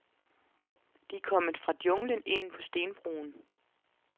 De er kommet fra junglen ind på stenbroen.